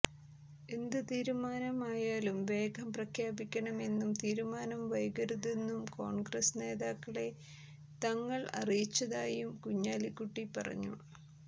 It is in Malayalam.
എന്ത് തീരുമാനം ആയാലും വേഗം പ്രഖ്യാപിക്കണമെന്നും തീരുമാനം വൈകരുതെന്നും കോൺഗ്രസ് നേതാക്കളെ തങ്ങൾ അറിയിച്ചതായും കുഞ്ഞാലിക്കുട്ടി പറഞ്ഞു